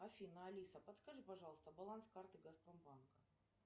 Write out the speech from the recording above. афина алиса подскажи пожалуйста баланс карты газпромбанка